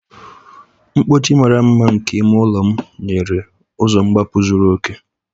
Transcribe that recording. Mkpọchi mara mma nke ime ụlọ m nyere ụzọ mgbapụ zuru oke.